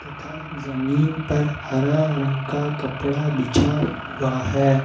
तथा जमीन पर हरा रंग का कपड़ा बिछा हुआ है।